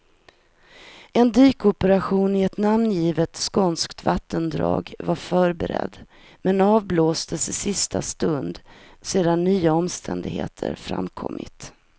En dykoperation i ett namngivet skånskt vattendrag var förberedd, men avblåstes i sista stund sedan nya omständigheter framkommit.